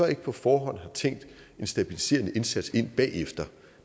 ikke på forhånd har tænkt en stabiliserende indsats ind bagefter